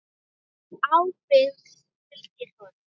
Ábyrgð fylgir orðum.